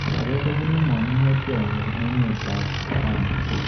Age kobunu manung'otyot nyi emet ab ghana